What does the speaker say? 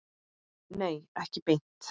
Nei, ekki beint.